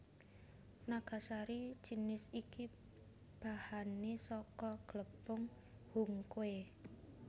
Nagasari jinis iki bahané saka glepung hungkwe